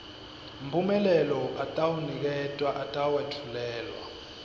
mphumela atawuniketwa atawetfulwa